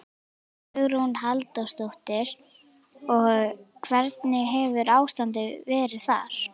Hugrún Halldórsdóttir: Og hvernig hefur ástandið verið þar?